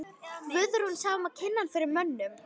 Guðrún sá um að kynna hann fyrir mönnum.